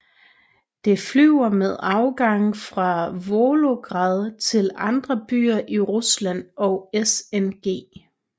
Det flyver med afgange fra Volgograd til andre byer i Rusland og SNG